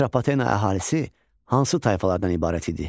Atropatena əhalisi hansı tayfalardan ibarət idi?